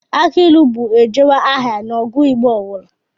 Akị ilu bụ ejewe ahaghị n'ọgwụ Igbo ọ bụla